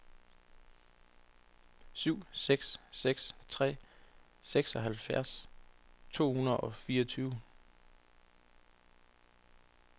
syv seks seks tre seksoghalvfjerds to hundrede og fireogtyve